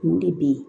Mun de bɛ ye